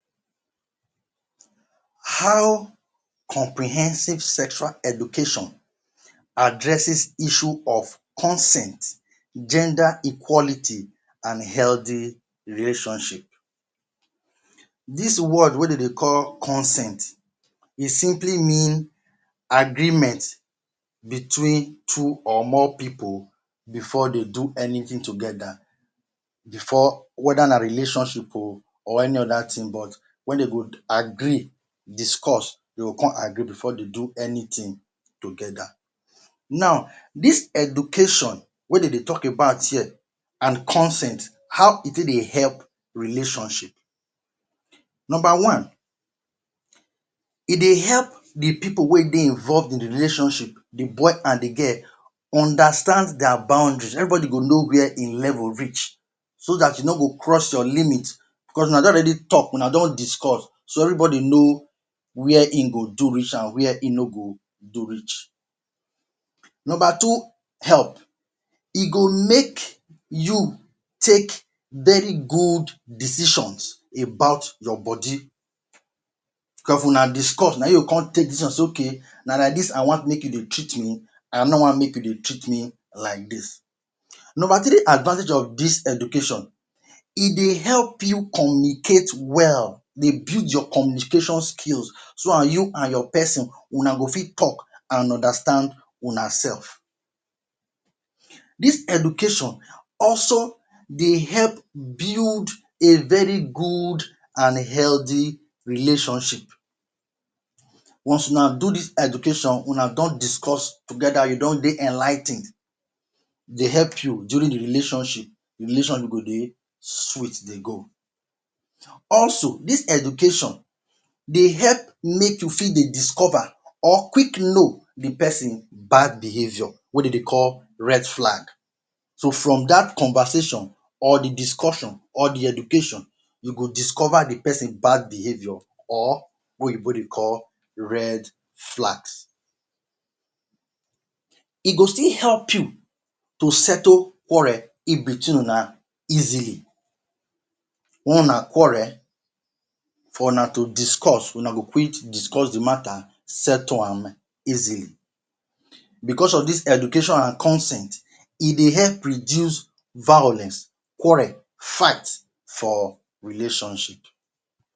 How comprehensive sexual education addresses issue of consent, gender equality, and healthy relationship? Dis word wey dem de call ‘’consent’’, e simply mean, ‘’agreement between two or more people before de do anything together’’, before whether na relationship o or any other thing but wen dem go agree, discuss, dem go con agree before de do anything together. Now, dis education wey de de tok about here, and consent, how e take dey help relationship? Nomba one, e dey help di pipu wey de involved in di relationship – di boy and di girl – understand dia boundary. Everybodi go know where im level reach, so dat you no go cross your limit, cos una don already tok, una don discuss, so everybodi know where im go do reach and where im no go do reach. Nomba two help, e go make you take very good decisions about your bodi, if una discuss na you go con take decision say: ‘’Ok, na like dis I wan make you dey treat me, I no wan make you dey treat me like dis’’. Nomba three advantage of dis education, e dey help you communicate well, dey build your communication skills so and you and your pesin, una go fit tok and understand unasef. Dis education also dey help build a very good and healthy relationship. Once una do dis education, una don discuss together you don de enligh ten ed, dey help you during di relationship, relation you go de sweet de go. Also, dis education dey help make you fit dey discover or quick know di pesin bad behaviour wey dem de call ‘’red flag.’’ So from dat conversation, or di discussion, or di education, you go discover di pesin bad behaviour or wey Oyibo dey call ‘’red flags.’’ E go still help you to settle quarrel in-between una easily, wen una quarrel, for una to discuss una go quick discuss di mata, settle am easily. Becos of dis education and consent, e dey help reduce violence, quarrel, fight for relationship.